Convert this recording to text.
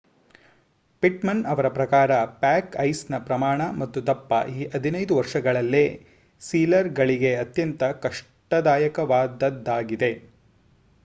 Pitman ಅವರ ಪ್ರಕಾರ pack ಐಸ್ ನ ಪ್ರಮಾಣ ಮತ್ತು ದಪ್ಪ ಈ 15 ವರ್ಷಗಳಲ್ಲೇ ಸೀಲರ್ ಗಳಿಗೆ ಅತ್ಯಂತ ಕಷ್ಟದಾಯಕವಾದದ್ದಾಗಿದೆ